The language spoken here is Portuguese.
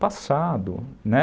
passado, né?